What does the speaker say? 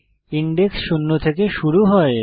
index শূন্য থেকে শুরু হয়